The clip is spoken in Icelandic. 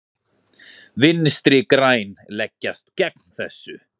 Vinstri græn leggjast gegn þessu.